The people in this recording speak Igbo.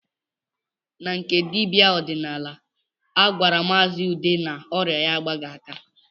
Na nke dibịa ọdịnala, a gwara maazi Ude na ọrịa ya agbaghị aka